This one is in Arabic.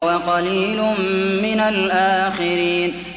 وَقَلِيلٌ مِّنَ الْآخِرِينَ